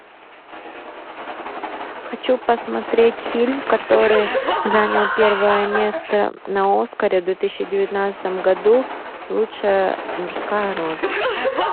хочу посмотреть фильм который занял первое место на оскаре в две тысячи девятнадцатом году лучшая мужская роль